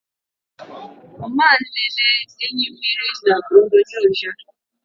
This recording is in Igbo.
Ọ ma-elele enyimmiri n' onyonyo ya.